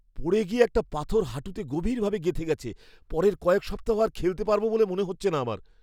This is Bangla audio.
পড়ে গিয়ে একটা পাথর হাঁটুতে গভীরভাবে গেঁথে গেছে। পরের কয়েক সপ্তাহ আর খেলতে পারব বলে মনে হচ্ছে না আমার।